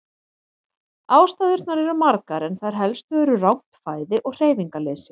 Ástæðurnar eru margar en þær helstu eru rangt fæði og hreyfingarleysi.